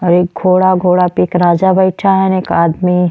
और घोड़ा घोडा पे एक राजा बइठा हं। एक आदमी --